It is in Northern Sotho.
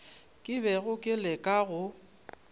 ke bego ke leka go